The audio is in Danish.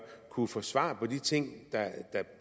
kunne få svar på de ting